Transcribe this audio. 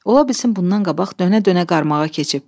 Ola bilsin bundan qabaq dönə-dönə qarmağa keçib.